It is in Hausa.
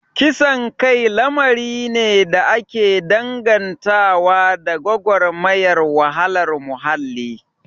Kisan kai lamari ne da ake dangantawa da gwagwarmayar wahalar muhalli